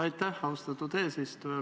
Aitäh, austatud eesistuja!